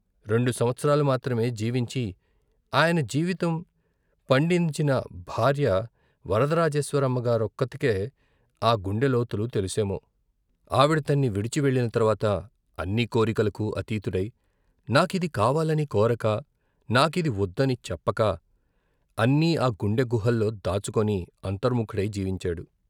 రెండు సంవత్సరాలు మాత్రమే జీవించి ఆయన జీవితం పండించిన భార్య వరదరాజేశ్వరమ్మగారొక్కతికే ఆ గుండె లోతులు తెలుసేమో, ఆవిడ తన్ని విడిచి వెళ్ళిన తర్వాత, అన్ని కోరికలకు అతీతుడై, నాకిది కావాలని కోరక, నాకిది వొద్దని చెప్పక, అన్నీ ఆ గుండె గుహల్లో దాచుకొని అంతర్ముకుడై జీవించాడు.